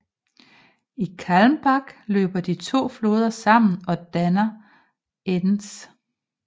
I Calmbach løber de to floder sammen og dannar Enz